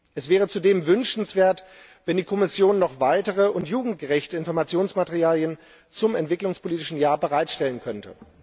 Es wäre zudem wünschenswert, wenn die Kommission noch weitere und jugendgerechte Informationsmaterialien zum Europäischen Jahr der Entwicklung bereitstellen könnte.